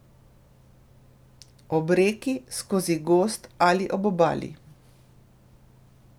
Ob reki, skozi gozd ali ob obali.